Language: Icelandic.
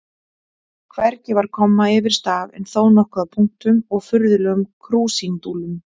Hvergi var komma yfir staf en þó nokkuð af punktum og furðulegum krúsindúllum.